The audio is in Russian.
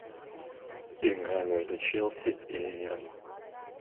игра между челси и ливером